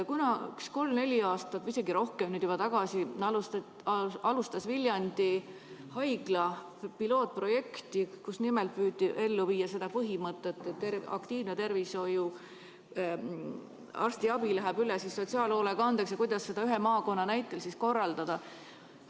Kolm-neli aastat või isegi juba rohkem tagasi alustas Viljandi Haigla pilootprojekti, kus püüti ellu viia seda põhimõtet, et aktiivne arstiabi läheb üle sotsiaalhoolekandeks ja kuidas seda ühe maakonna näitel korraldada.